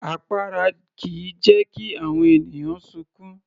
Àpárá kìí jẹ́ kí àwọn ènìyàn sunkún